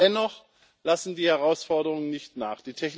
Und dennoch lassen die Herausforderungen nicht nach.